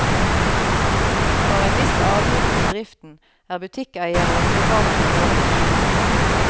For en viss avgift til driften er butikkeiere og private lovet beskyttelse.